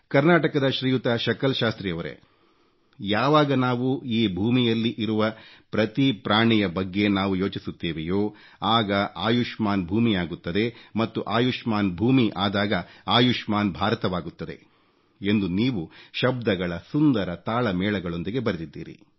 ಕರ್ನಾಟಕದ ಶ್ರೀಯುತ ಶಕಲ್ ಶಾಸ್ತ್ರಿಯವರೇ ಯಾವಾಗ ನಾವು ಈ ಭೂಮಿಯಲ್ಲಿ ಇರುವ ಪ್ರತಿ ಪ್ರಾಣಿಯ ಬಗ್ಗೆ ನಾವು ಯೋಚಿಸುತ್ತೇವೆಯೋ ಆಗ ಆಯುಷ್ಮಾನ್ ಭೂಮಿಯಾಗುತ್ತದೆ ಮತ್ತು ಆಯುಷ್ಮಾನ್ ಭೂಮಿ ಆದಾಗ ಆಯುಷ್ಮಾನ್ ಭಾರತವಾಗುತ್ತದೆ ಎಂದು ನೀವು ಶಬ್ದಗಳ ಸುಂದರ ತಾಳಮೇಳಗಳೊಂದಿಗೆ ಬರೆದಿದ್ದೀರಿ